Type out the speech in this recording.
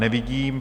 Nevidím.